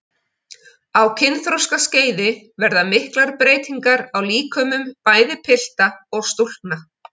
Á kynþroskaskeiði verða miklar breytingar á líkömum bæði pilta og stúlkna.